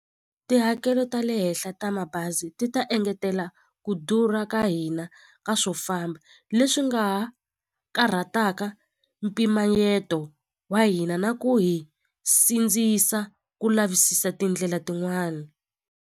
Tihakelo ta le henhla ta mabazi ti ta engetela ku durha ka hina leswi nga ha karhataka mpimanyeto wa hina na ku hi sindzisa ku lavisisa tindlela tin'wana.